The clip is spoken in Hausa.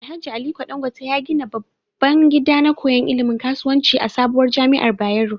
Alhaji aliko Dan gwate ya gida babban gida na koyan ilimin kasuwanci a sabuwar jamiar bayero